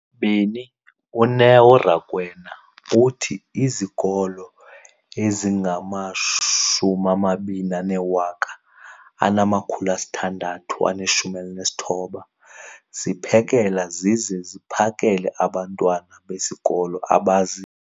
beni, uNeo Rakwena, uthi izikolo ezingama-20 619 ziphekela zize ziphakele abantwana besikolo abazi-